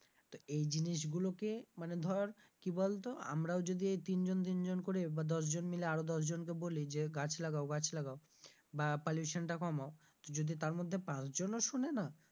তো এই জিনিসগুলোকে মানে ধর কি বলতো আমরাও যদি এই তিনজন তিনজন করে বা দশ জন মিলে আরো দশ জনকে বলি যে গাছ লাগাও গাছ লাগাও বা pollution টা কমাও তো যদি তার মধ্যে পাঁচ জনও শুনে না,